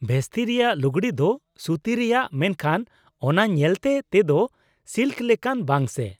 ᱵᱷᱮᱥᱛᱤ ᱨᱮᱭᱟᱜ ᱞᱩᱜᱽᱲᱤ ᱫᱚ ᱥᱩᱛᱤ ᱨᱮᱭᱟᱜ, ᱢᱮᱱᱠᱷᱟᱱ ᱚᱱᱟ ᱧᱮᱞᱛᱮ ᱛᱮᱫᱚ ᱥᱤᱞᱠ ᱞᱮᱠᱟᱱ, ᱵᱟᱝ ᱥᱮ ?